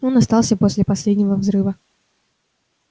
он остался после последнего взрыва